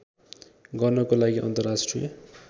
गर्नको लागि अन्तर्राष्ट्रिय